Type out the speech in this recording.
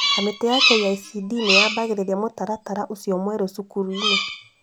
Kamĩtĩ ya KICD nĩyambagĩrĩria mũtaratara ũcio mwerũ macukuru-inĩ